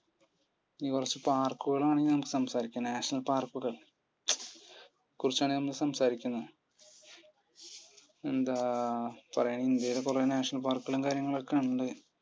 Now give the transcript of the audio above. ഇനി കുറച്ചു park കൾ ആണ് national park ഞാൻ സംസാരിക്കുന്നത്. national park മു്ച് കുറിച്ചാണ് നമ്മസംസാരിക്കുന്നത്. എന്താ പറയാ ഇന്ത്യയിൽ കുറെ ൾ national park കളും കാര്യങ്ങളൊക്കെ ഉണ്ട്.